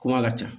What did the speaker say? Kuma ka ca